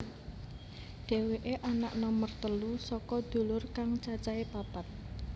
Dhéwéké anak nomer telu saka dulur kang cacahé papat